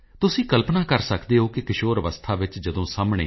IF you have resources share them with the needy